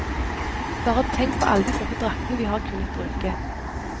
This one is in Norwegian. Bare tenk på alle de flotte draktene vi har kunnet bruke.